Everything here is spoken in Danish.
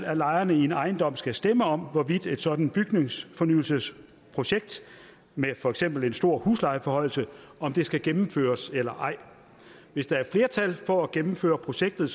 at lejerne i en ejendom skal stemme om hvorvidt et sådant bygningsfornyelsesprojekt med for eksempel en stor huslejeforhøjelse skal gennemføres eller ej hvis der er flertal for at gennemføre projektet